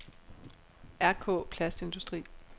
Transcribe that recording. Rk-Plastindustri